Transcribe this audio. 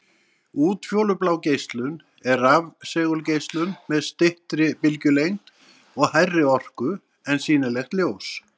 Útfjólublá geislun er rafsegulgeislun með styttri bylgjulengd og hærri orku en sýnilegt ljós.